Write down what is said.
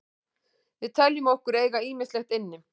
Við teljum okkur eiga ýmislegt inni.